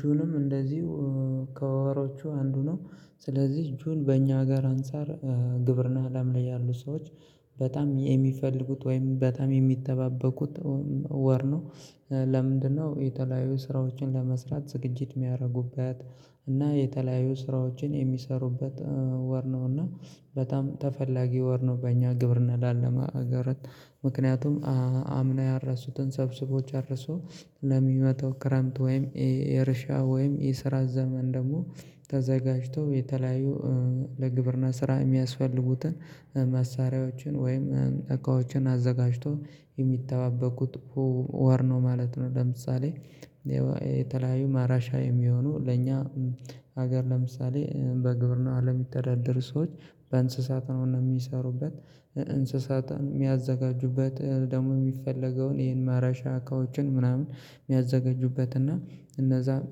ጁንም እንደዚሁ ከወሮቹ አንዱ ነው። ስለዚህ ጁን በእኛ አገር አንፃር ግብርና አለም ላይ ያሉ ሰዎች በጣም የሚፈልጉት ወይም በጣም የሚጠባበቁት ወር ነው። ለምንድነው የተለያዩ ስራዎችን ለመስራት ዝግጅት የሚያደርጉበት እና የተለያዩ ስራዎችን የሚሰሩበት ወር ነው እና በጣም ተፈላጊ ወር ነው በእኛ ግብርና ላለን አገራት ምክንያቱም አምና ያረሱትን ሰብስቦ ጨርሶ ለሚመጣው ክረምት ወይም የእርሻ ወይም የስራ ዘመን ደግሞ ተዘጋጅቶ የተለያዩ ለግብርና ስራ የሚያስፈልጉትን መሳሪያዎችን ወይም እቃዎችን አዘጋጅቶ የሚተባበቁት ወር ነው ማለት ነው። ለምሳሌ የተለያዩ ማረሻ የሚሆኑ ለኛ ሀገር ለምሳሌ በግብርና አለም የሚተዳደሩ ሰዎች በእንስሳት ነው እና የሚሰሩበት እንስሳትን የሚያዘጋጁበት ደግሞ የሚፈለገውን ይሄን ማረሻ እቃዎችን ምናምን የሚያዘጋጁበት እና እነዛን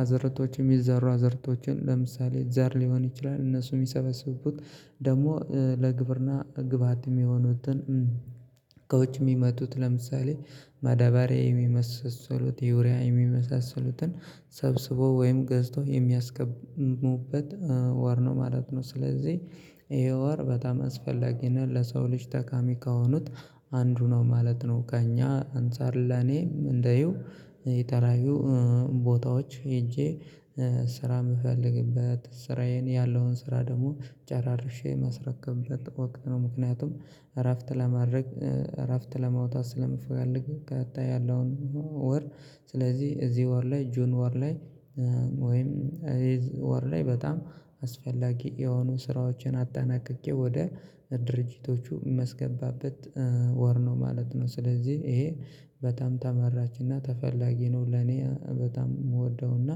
አዘርቶች የሚዘሩ አዘርቶችን ለምሳሌ ዘር ሊሆን ይችላል እነሱ የሚሰበስቡት ደግሞ ለግብርና ግብአትም የሆኑትን ከውጭ የሚመጡት ለምሳሌ መዳበሬ የሚመሰሰሉት ዩርያ የሚመሳሰሉትን ሰብስቦ ወይም ገዝቶ የሚያስገቡበት ወር ነው ማለት ነው። ስለዚህ ይሄ ወር በጣም አስፈላጊ ነው ለሰው ልጅ ጠቃሚ ከሆኑት አንዱ ነው ማለት ነው። ከእኛ አንፃር ለኔ እንደይው የተለያዩ ቦታዎች ሄጄ ስራ የምፈልግበት ስራዬን ያለውን ስራ ደግሞ ጨራርሼ የማስረከብበት ወቅት ነው። ምክንያቱም እረፍት ለማድረግ እረፍት ለመውጣት ስለምፈልግ ቀጣይ ያለውን ወር ስለዚህ እዚህ ወር ላይ ጁን ወር ላይ ወይም ወር ላይ በጣም አስፈላጊ የሆኑ ስራዎችን አጠናቅቄ ወደ ድርጅቶቹ ማስገባበት ወር ነው ማለት ነው። ስለዚህ ይሄ በጣም ተመራጭና ተፈላጊ ነው ለኔ በጣም የምወደውና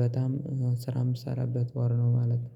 በጣም ስራ የምትሰራበት ወር ነው ማለት ነው